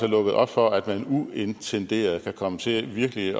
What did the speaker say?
lukket op for at man uintenderet kan komme til virkelig